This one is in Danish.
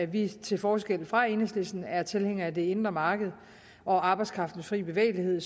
vi til forskel fra enhedslisten er tilhængere af det indre marked og arbejdskraftens fri bevægelighed